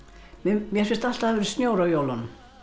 mér finnst alltaf að hafi verið snjór á jólunum